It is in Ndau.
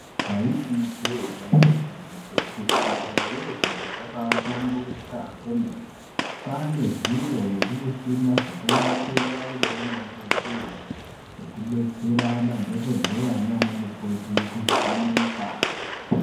Ndaiti ijee damba igwinyiso kuzvipatarayo zviro zvabaahlamburika kwemene. Kwaane zviro nezvimishina zvakanasirwa ngeunyanzvi ukurutu zvinodetsera madhokodheya nanamukoti kuvheneka.